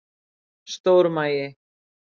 Stór magi